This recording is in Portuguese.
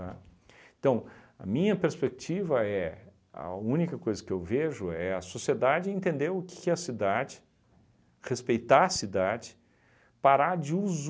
Então, a minha perspectiva é, a única coisa que eu vejo é a sociedade entender o que que é a cidade, respeitar a cidade, parar de